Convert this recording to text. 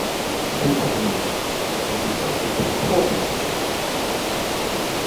50 mins- enzo tchato play poor pass.